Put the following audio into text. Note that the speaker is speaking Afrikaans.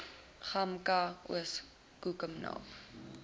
gamka oos koekenaap